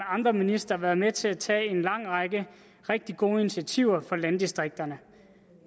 andre ministre været med til at tage en lang række rigtig gode initiativer for landdistrikterne